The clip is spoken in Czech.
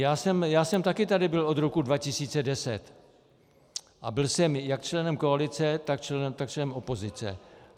Já jsem taky tady byl od roku 2010 a byl jsem jak členem koalice, tak členem opozice.